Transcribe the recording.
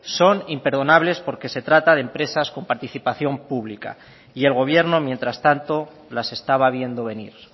son imperdonables porque se trata de empresas con participación pública y el gobierno mientras tanto las estaba viendo venir